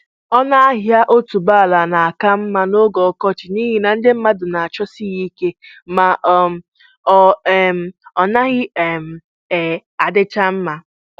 Ọnụ ahịa otuboala na-aka mma n'oge ọkọchị n'ihi na ndị mmadụ na-achọsi ya ike ma um ọ um naghị um um adịchama